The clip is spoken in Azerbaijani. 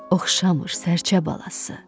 Oxşamır sərçə balası.